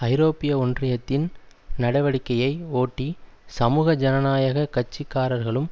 ஐரோப்பிய ஒன்றியத்தின் நடவடிக்கையை ஒட்டி சமூக ஜனநாயக கட்சிக்காரர்களும்